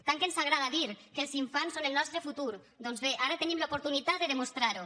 tant que ens agrada dir que els infants són el nostre futur doncs bé ara tenim l’oportunitat de demostrarho